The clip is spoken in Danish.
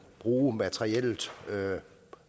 bruge materiellet